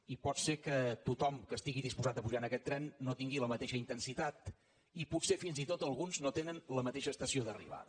i pot ser que tothom que estigui disposat a pujar en aquest tren no tingui la mateixa intensitat i potser fins i tot alguns no tenen la mateixa estació d’arribada